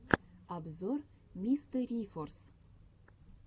обзор мистерифорс